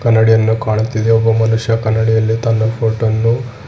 ಕನ್ನಡಿಯನ್ನು ಕಾಣುತ್ತಿದೆ ಒಬ್ಬ ಮನುಷ್ಯ ಕನ್ನಡಿಯಲ್ಲಿ ತನ್ನ ಫೋಟೋ ವನ್ನು --